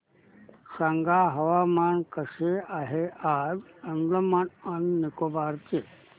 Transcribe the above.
सांगा हवामान कसे आहे आज अंदमान आणि निकोबार चे